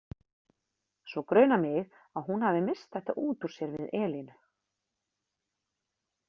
Svo grunar mig að hún hafi misst þetta út úr sér við Elínu.